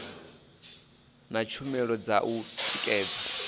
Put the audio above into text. na tshumelo dza u tikedza